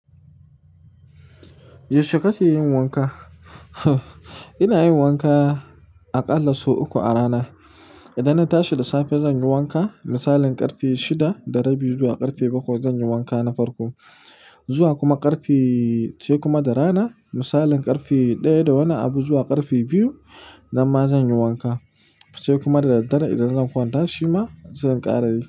Yaushe kake yin wanka? Ina yin wanka aƙalla sau uku a rana. Idan na tashi da safe zan yi wanka, misalin ƙarfe shida, da rabi zuwa ƙarfe bakwai zan yi wanka na farko. Zuwa kuma ƙarfe sai kuma da rana, misalin ƙarfe ɗaya da wani abu zuwa ƙarfe biyu, nan ma zan yi wanka. Sai kuma da daddare idan zan kwanta shima zan ƙara yi.